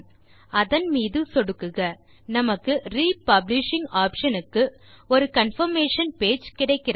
அதன் மீது சொடுக்குக நமக்கு re பப்ளிஷிங் ஆப்ஷன் க்கு ஒரு கன்ஃபர்மேஷன் பேஜ் கிடைக்கிறது